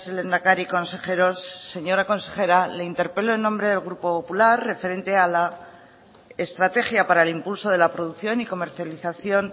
lehendakari consejeros señora consejera le interpelo en nombre del grupo popular referente a la estrategia para el impulso de la producción y comercialización